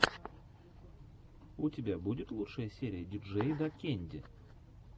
у тебя будет лучшая серия диджейдакэнди